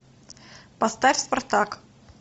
поставь спартак